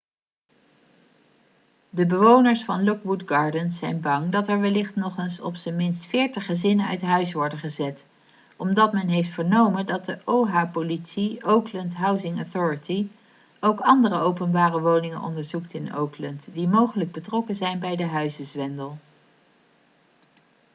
de bewoners van lockwood gardens zijn bang dat er wellicht nog eens op zijn minst 40 gezinnen uit huis worden gezet omdat men heeft vernomen dat de oha-politie oakland housing authority ook andere openbare woningen onderzoekt in oakland die mogelijk betrokken zijn bij de huizenzwendel